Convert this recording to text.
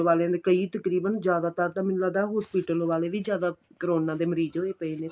ਵਾਲੀਆਂ ਨੇ ਕਈ ਤਕਰੀਬਨ ਜਿਆਦਾ ਤਰ ਤਾਂ ਮੈਨੂੰ ਲਗਦਾ hospital ਵਾਲੇ ਵੀ ਜਿਆਦਾ ਕਰੋਨਾ ਦੇ ਮਰੀਜ ਨੂੰ ਵੀ ਪਏ ਨੇ